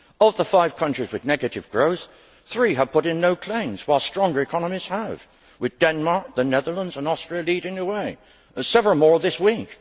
Of the five countries with negative growth, three have put in no claims, while stronger economies have, with Denmark, the Netherlands and Austria leading the way, and several more this week.